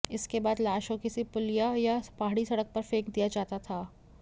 इसके बाद लाश को किसी पुलिया या पहाड़ी सड़क पर फेंक दिया जाता था